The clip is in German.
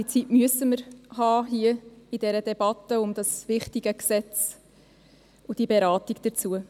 Diese Zeit müssen wir in dieser Debatte für dieses wichtige Gesetz und die dazugehörige Beratung haben.